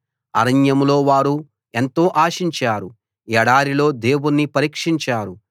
అరణ్యంలో వారు ఎంతో ఆశించారు ఎడారిలో దేవుణ్ణి పరీక్షించారు